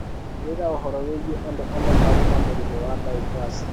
Kũrĩ na ũhoro wĩgiĩ andũ amwe marĩ na mũrimũ wa dyphasia.